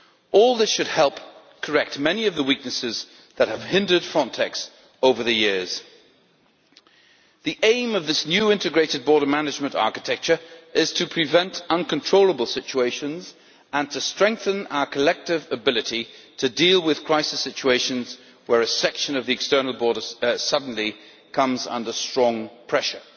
All this should help correct many of the weaknesses that have hindered Frontex over the years. The aim of this new integrated border management architecture is to prevent uncontrollable situations and to strengthen our collective ability to deal with crisis situations where a section of the external border suddenly comes under strong pressure.